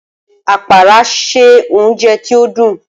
Apara ṣe ounjẹ ti o dun.